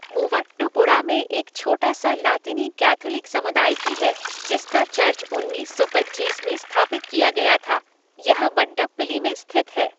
मूवाट्टुपुड़ा में एक छोटा सा लातिनी कैथोलिक समुदाय भी है जिसका चर्च उन्नीस सौ पचीस में स्थापित किया गया था, यह वडप्पिली में स्थित है।